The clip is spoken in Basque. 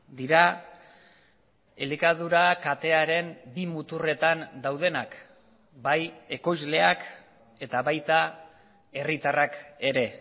dira elikadura katearen bi muturretan daudenak bai ekoizleak eta baita herritarrak ere